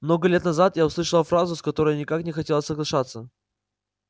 много лет назад я услышала фразу с которой никак не хотела соглашаться